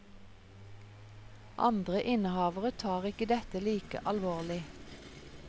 Andre innehavere tar ikke dette like alvorlig.